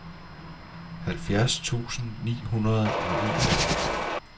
halvfjerds tusind ni hundrede og en